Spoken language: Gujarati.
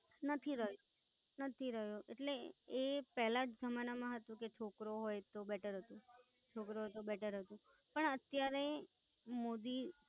નથી રયો, નથી રયો એ પેલા જમાનામાં હતું કે છોકરો હોઈ તો Better હતું છોકરો હોય તો Better હતું, પણ અત્યારે મોદી